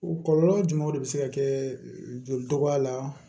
O kɔlɔlɔ jumɛnw de be se ka kɛ joli dɔgɔya la